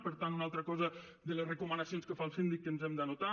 per tant una altra cosa de les recomanacions que fa el síndic que ens hem d’anotar